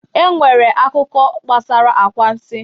E nwere akụkọ gabasara anwansi